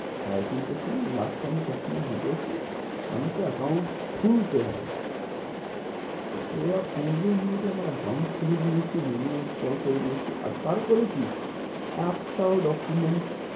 সাড়ে তিনটের সময় last আমি customer ঢুকেছি আমাকে account খুলতে হবে ওরা পনেরো minute আমার account খুলে নিয়েছে uno install করে নিয়েছে আর তারপরে কি একটাও document